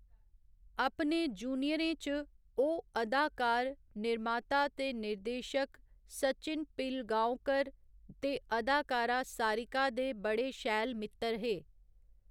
अपने जूनियरें च, ओह् अदाकार, निर्माता ते निर्देशक सचिन पिलगाओकर ते अदाकारा सारिका दे बड़े शैल मित्तर हे।